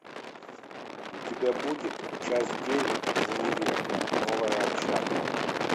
у тебя будет часть девять универ новая общага